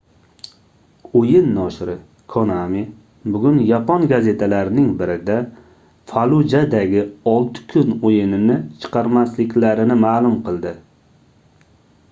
oʻyin noshiri konami bugun yapon gazetalarining birida fallujadagi olti kun oʻyinini chiqarmasliklarini maʼlum qildi